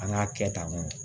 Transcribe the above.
An k'a kɛ tan